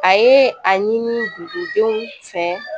A ye a ɲini dugudenw fɛ